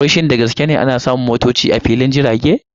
Wai shin da gaske ne ana samun motocin bas a filin jirage?